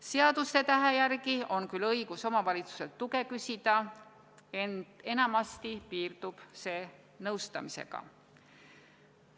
Seadusetähe järgi on küll õigus omavalitsuselt tuge küsida, ent enamasti piirdub see nõustamisega.